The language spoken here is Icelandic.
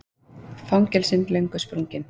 Fangelsin löngu sprungin